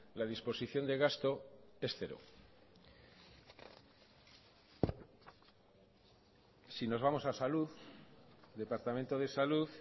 la disposición de gasto es cero si nos vamos a salud departamento de salud